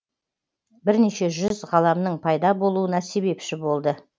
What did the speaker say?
бірнеше жүз ғаламның пайда болуына себепші болды